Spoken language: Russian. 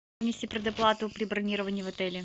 внести предоплату при бронировании в отеле